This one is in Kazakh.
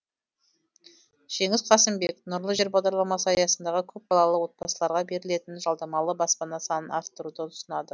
жеңіс қасымбек нұрлы жер бағдарламасы аясындағы көпбалалы отбасыларға берілетін жалдамалы баспана санын арттыруды ұсынады